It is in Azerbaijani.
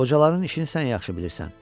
Qocaların işini sən yaxşı bilirsən.